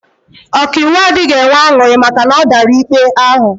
Ọkaiwu adịghị enwe aṅụrị maka na ọ dara ikpe ahụ